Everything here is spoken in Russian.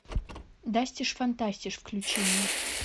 дастиш фантастиш включи мне